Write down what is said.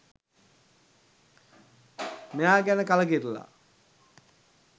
මෙයා ගැන කලකිරිලා.